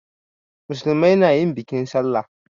Musulmai na yin bikin sallah.